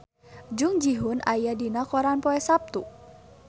Jung Ji Hoon aya dina koran poe Saptu